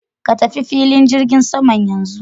Ka tafi filin jirgin saman yanzu.